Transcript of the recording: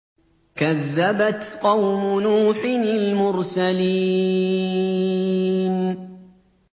كَذَّبَتْ قَوْمُ نُوحٍ الْمُرْسَلِينَ